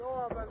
Dövlət.